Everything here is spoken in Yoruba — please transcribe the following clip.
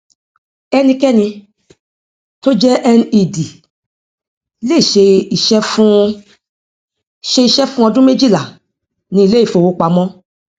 enikeni tó jẹ ned lè ṣe iṣẹ fún ṣe iṣẹ fún ọdún méjìlá ní ilé ifówopàmọ